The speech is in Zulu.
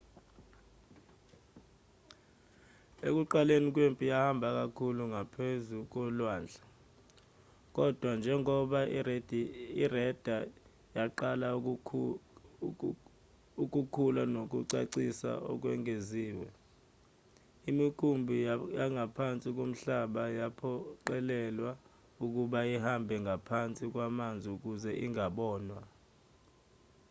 ekuqaleni kwempi yahamba kakhulu ngaphezu kolwandle kodwa njengoba ireda yaqala ukukhula nokucacisa okwengeziwe imikhumbi yangaphansi komhlaba yaphoqelelwa ukuba ihambe ngaphansi kwamanzi ukuze ingabonwa